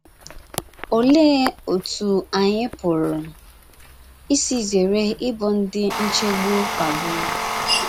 Olee otú anyị pụrụ isi zere ịbụ ndị nchegbu kpagburu?